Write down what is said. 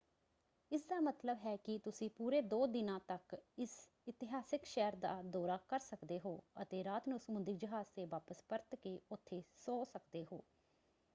ਇਸਦਾ ਮਤਲਬ ਹੈ ਕਿ ਤੁਸੀਂ ਪੂਰੇ ਦੋ ਦਿਨਾਂ ਤੱਕ ਇਸ ਇਤਿਹਾਸਕ ਸ਼ਹਿਰ ਦਾ ਦੌਰਾ ਕਰ ਸਕਦੇ ਹੋ ਅਤੇ ਰਾਤ ਨੂੰ ਸਮੁੰਦਰੀ ਜਹਾਜ਼ ‘ਤੇ ਵਾਪਸ ਪਰਤ ਕੇ ਉੱਥੇ ਸੌਂ ਸਕਦੇ ਹੋ।